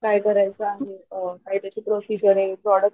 काय करायचं आहे काय त्याची प्रोसिजर प्रॉडक्ट्स